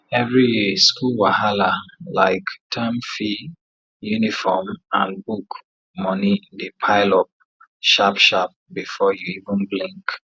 every year school wahala like term fee uniform and book money dey pile up sharp sharp before you even blink